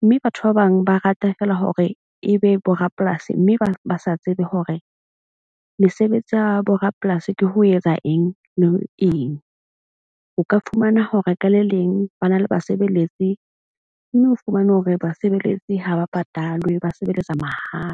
Mme batho ba bang ba rata fela hore ebe bo rapolasi. Mme ba sa tsebe hore mesebetsi ya bo rapolasi ke ho etsa eng, le eng. O ka fumana ho re ka le leng ba na le basebeletsi. Mme o fumane hore basebeletsi ha ba patalwe ba sebeletsa mahala.